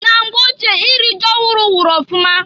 Na mgbe ochie iri ji ọhụrụ wụrụ ọfụma.